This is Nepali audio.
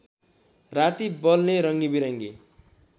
राति बल्ने रङ्गबिरङ्गी